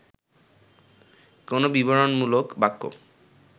কোন বিবরণমূলক বাক্য